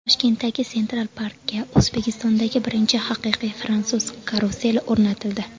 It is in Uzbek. Toshkentdagi Central Park’ga O‘zbekistondagi birinchi haqiqiy fransuz karuseli o‘rnatildi.